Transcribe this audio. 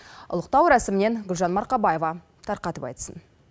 ұлықтау рәсімінен гүлжан марқабаева тарқатып айтсын